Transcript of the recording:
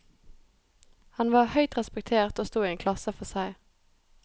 Han var høyt respektert og sto i en klasse for seg.